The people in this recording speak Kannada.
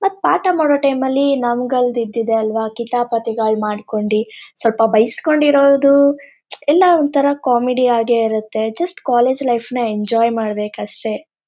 ಮತ್ತ್ ಪಾಠ ಮಾಡೋ ಟೈಮಲ್ಲಿ ನಮಗಳ್ ಇದ್ದಿದ್ದೆ ಅಲ್ವಾಕಿತಾಪತಿಗಳ್ ಮಾಡ್ಕೊಂಡಿ ಸ್ವಲ್ಪ ಬಯ್ಸ್ಕೊಂಡಿರದು ಎಲ್ಲ ಒಂತರ ಕಾಮಿಡಿ ಆಗೆ ಇರತ್ತೆ ಜಸ್ಟ್ ಕಾಲೇಜು ಲೈಫ್ ನ ಎಂಜಾಯ್ ಮಾಡ್ಬೇಕ್ ಅಷ್ಟೇ.